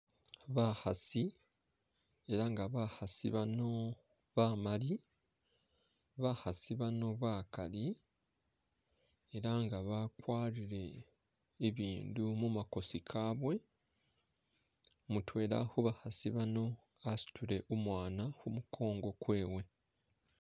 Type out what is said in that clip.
Bakhasi elanga bakhasi bano bamali bakhasi bano bakali elanga bakwarile ibindu mumakosi kabwe mutwela khubakhasi bano khasutile umwana khumukongo kwewe.